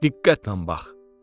Diqqətlə bax.